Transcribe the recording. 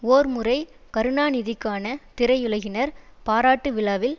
ஓர் முறை கருணாநிதிக்கான திரையுலகினரின் பாராட்டு விழாவில்